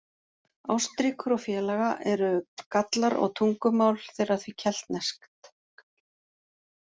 Ástríkur og félaga eru Gallar og tungumál þeirra því keltneskt.